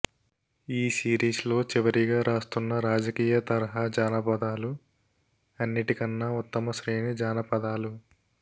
ఈ సీరీస్లో చివరిగా రాస్తున్న రాజకీయ తరహా జానపదాలు అన్నిటికన్న ఉత్తమశ్రేణి జానపదాలు